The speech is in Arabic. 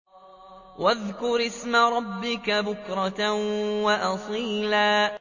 وَاذْكُرِ اسْمَ رَبِّكَ بُكْرَةً وَأَصِيلًا